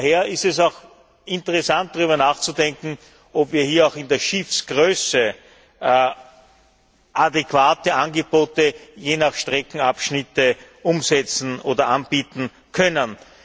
Daher ist es auch interessant, darüber nachzudenken, ob wir hier auch in der Schiffsgröße adäquate Angebote je nach Streckenabschnitten umsetzen oder anbieten können.